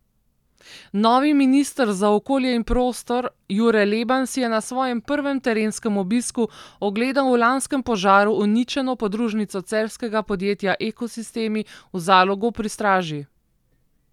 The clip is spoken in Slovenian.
Novi minister za okolje in prostor Jure Leben si je na svojem prvem terenskem obisku ogledal v lanskem požaru uničeno podružnico celjskega podjetja Ekosistemi v Zalogu pri Straži.